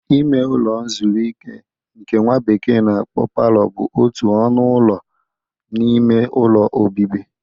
Ime ụlọ nzụrụ ike nke nwa bekee na-akpọ palọ bụ otu ọnụ ụlọ n'ime ụlọ obibi.